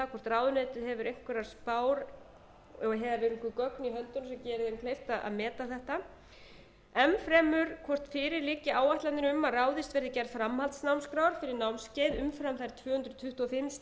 höndunum sem gerir því kleift að meta þetta enn fremur hvort fyrir liggi áætlanir um að ráðist verði í gerð framhaldsnámskrár fyrir námskeið umfram þær tvö hundruð tuttugu og fimm stundir í íslensku sem skilgreindar